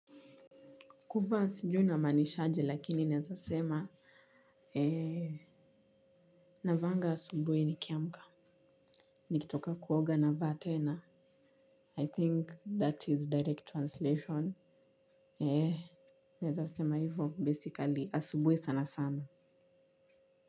Kuvaa sijui inamaanishaje lakini naeza sema, ee, navaanga asubuhi nikiamka. Nikitoka kuoga navaa tena. I think that is direct translation. Eee, naeza sema hivo basically asubuhi sana sana.